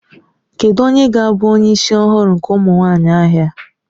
Kedụ onye ga-abụ onye isi ọhụrụ nke ụmụ nwanyị ahịa?